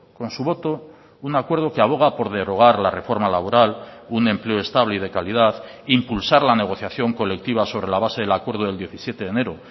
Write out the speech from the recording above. con su voto un acuerdo que aboga por derogar la reforma laboral un empleo estable y de calidad impulsar la negociación colectiva sobre la base del acuerdo del diecisiete de enero